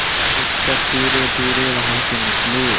शिक्षक धीरेधीरे वहाँ से निकले